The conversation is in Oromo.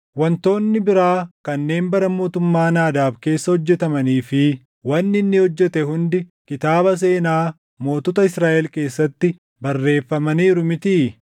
Wantoonni biraa kanneen bara mootummaa Naadaab keessa hojjetamanii fi wanni inni hojjete hundi kitaaba seenaa mootota Israaʼel keessatti barreeffamaniiru mitii?